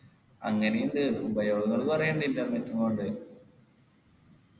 അങ്ങനെയുണ്ട് ഉപയോഗങ്ങള് കൊറേ ഉണ്ട് internet നെ കൊണ്ട്